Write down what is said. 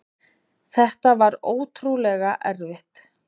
Þetta var ótrúlega erfitt.